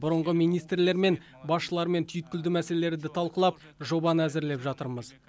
бұрынғы министрлермен басшылармен түйткілді мәселелерді талқылап жобаны әзірлеп жатырмыз